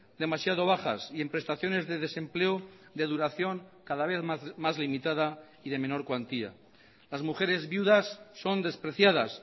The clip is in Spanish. demasiado bajas y en prestaciones de desempleo de duración cada vez más limitada y de menor cuantía las mujeres viudas son despreciadas